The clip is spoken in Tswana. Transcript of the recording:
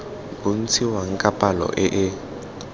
bontshiwang ka palo e e